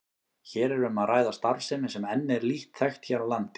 Hér er um að ræða starfsemi sem enn er lítt þekkt hér á landi.